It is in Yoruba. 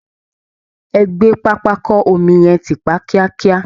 E gbé pápákọ omi yẹn tìpa kíákíá!